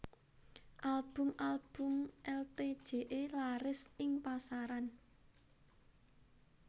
Album album Itje laris ing pasaran